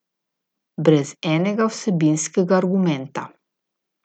Brez enega vsebinskega argumenta.